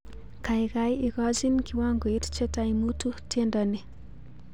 Kaikai ikochin kiwangoit chetai mutu tiendo ni